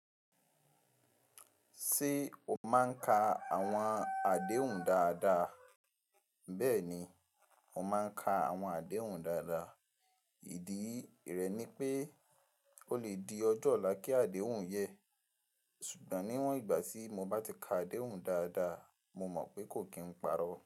Ṣé o máa ń ka àwọn àdéhùn dáadáa? Bẹ́ẹ̀ni, mo máa ń ka àwọn àdéhùn dáadáa. Ìdí rẹ̀ ni pé ó lè di ọjọ́ ọ̀la kí àdéhùn yẹn. Ṣùgbọ́n níwọ̀n ìgbà tí mo bá ti ka àdéhùn dáadáa, mo mọ̀ pé kò kí n parọ́